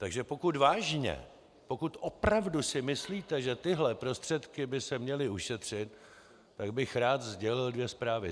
Takže pokud vážně, pokud opravdu si myslíte, že tyto prostředky by se měly ušetřit, tak bych rád sdělil dvě zprávy.